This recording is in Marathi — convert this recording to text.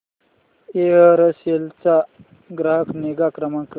एअरसेल चा ग्राहक निगा क्रमांक